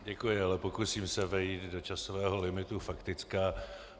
Děkuji, ale pokusím se vejít do časového limitu faktické.